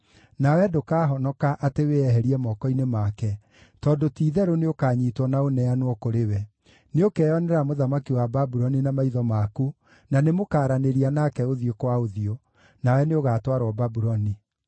Nawe ndũkahonoka atĩ wĩeherie moko-inĩ make, tondũ ti-itherũ nĩũkanyiitwo na ũneanwo kũrĩ we. Nĩũkeyonera mũthamaki wa Babuloni na maitho maku, na nĩmũkaranĩria nake ũthiũ kwa ũthiũ. Nawe nĩũgatwarwo Babuloni.